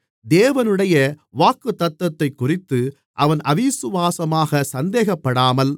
தேவனுடைய வாக்குத்தத்தத்தைக்குறித்து அவன் அவிசுவாசமாகச் சந்தேகப்படாமல்